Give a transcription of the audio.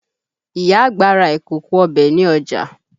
Ìyá àgbà ra ìkòkò ọbẹ̀ ní ọjà